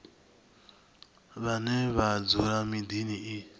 vhane vha dzula miḓini i